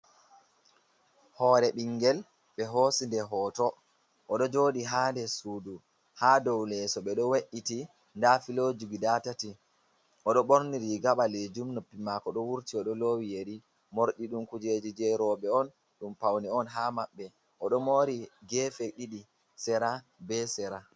Hore ɓingel ɓe hosinde hoto oɗo joɗi ha nder suudu, ha dow leso be ɗo we’iti da filoji guda tati, oɗo ɓorni riga ɓalejum, noppi mako do wurti, oɗo lowi yeri morɗi ɗum kujeji je roɓe on ɗum paune on ha maɓɓe, oɗo mori gefe ɗiɗi sera be sera.